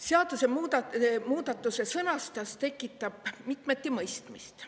Seadusemuudatuse sõnastus tekitab mitmeti mõistmist.